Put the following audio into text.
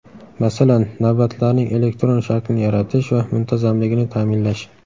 Masalan, navbatlarning elektron shaklini yaratish va muntazamligini ta’minlash.